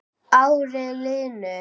Árin liðu.